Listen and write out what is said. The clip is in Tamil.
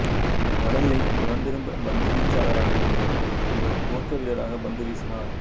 வலதுகை புறத் திருப்ப பந்துவீச்சாளராக இருந்தபோதிலும் இவர் துவக்க வீரராக பந்துவீசினார்